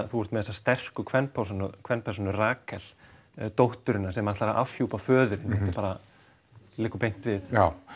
þú ert með þessa sterku kvenpersónu Rakel dótturina sem ætlar að afhjúpa föðurinn þetta liggur beint við